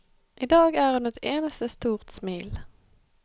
I dag er hun et eneste stort smil.